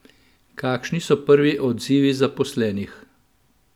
Kakšni so prvi odzivi zaposlenih?